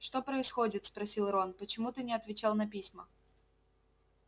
что происходит спросил рон почему ты не отвечал на письма